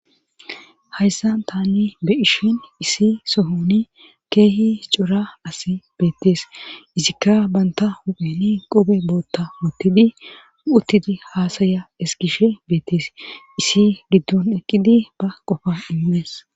hayssa taani be'ishin isi sohoni keehi hicora as beettees isikka banta huphini qobe bootta muttidi uttidi haasaya eskishe beettees isi giddon eqqidi ba qofa immees